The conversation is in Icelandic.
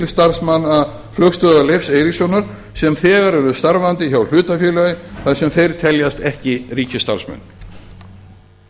starfsmanna flugstöðvar leifs eiríkssonar sem þegar eru starfandi hjá hlutafélagi þar sem þeir teljast ekki ríkisstarfsmenn